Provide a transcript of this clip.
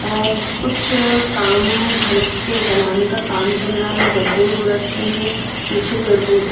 अ कुछ काम घर के बनाने का काम चल रहा हैगड्ढे हो रखे है पीछे पेड़-पौधे--